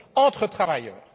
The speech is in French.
entre travailleurs.